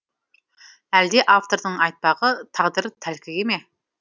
әлде автордың айтпағы тағдыр тәлкегі ме